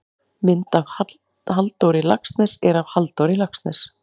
mynd af halldóri laxness er af halldór laxness